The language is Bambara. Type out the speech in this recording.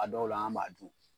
A dɔw la an b'a dun